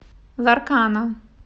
ларкана